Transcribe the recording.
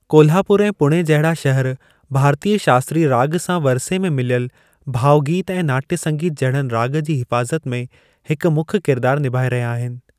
कोल्हापुर ऐं पुणे जहिड़ा शहर भारतीय शास्त्रीय राॻ सां वरिसे में मिलियल भावगीत ऐं नाट्य संगीत जहिड़नि राॻ जी हिफ़ाज़त में हिकु मुख्य किरदारु निभाए रहिया आहिनि।